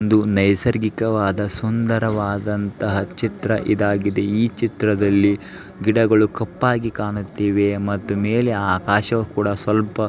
ನೈಸರ್ಗಿಕವಾದ ಸುಂದರವಾದ ಅಂತಹ ಚಿತ್ರ ಇದಾಗಿದೆ ಈ ಚಿತ್ರದಲ್ಲಿ ಗಿಡಗಳು ಕಪ್ಪಾಗಿ ಕಾಣುತ್ತೇವೆ ಮತ್ತು ಮೇಲೆ ಆಕಾಶವು ಕೂಡ ಸ್ವಲ್ಪ --